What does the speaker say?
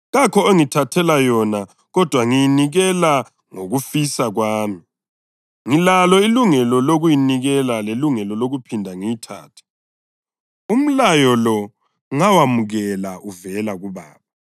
Kakho ongithathela yona kodwa ngiyinikela ngokufisa kwami. Ngilalo ilungelo lokuyinikela lelungelo lokuphinde ngiyithathe. Umlayo lo ngawamukela uvela kuBaba.”